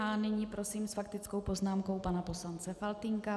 A nyní prosím s faktickou poznámkou pana poslance Faltýnka.